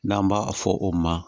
N'an b'a fɔ o ma